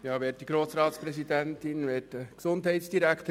Kommissionspräsident der GSoK.